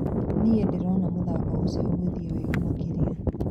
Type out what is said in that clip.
"Nĩ-ndĩrona mũthako ũcio ũgĩthiĩ wega makĩria